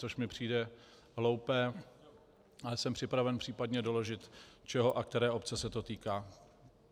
Což mi přijde hloupé, ale jsem připraven případně doložit čeho a které obce se to týká.